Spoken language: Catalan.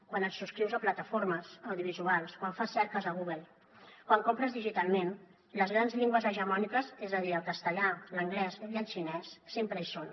quan et subscrius a plataformes audiovisuals quan fas cerques a google quan compres digitalment les grans llengües hegemòniques és a dir el castellà l’anglès i el xinès sempre hi són